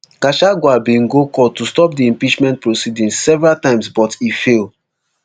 gachagua bin go court to stop di impeachment proceedings several times but e fail